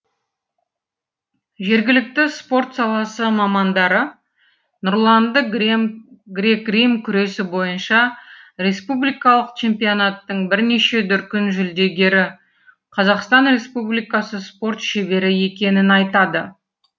жергілікті спорт саласы мамандары нұрланды грек рим күресі бойынша республикалық чемпионаттың бірнеше дүркін жүлдегері қазақстан республикасы спорт шебері екенін айтады